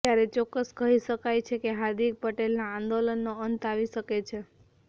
ત્યારે ચોક્કસ કહી શકાય છે કે હાર્દિક પટેલના આંદોલનનો અંત આવી શકે છે